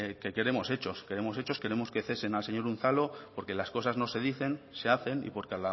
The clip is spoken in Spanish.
que queremos hechos queremos hechos queremos que cesen al señor unzalu porque las cosas no se dicen se hacen y porque